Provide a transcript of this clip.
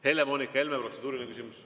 Helle-Moonika Helme, protseduuriline küsimus.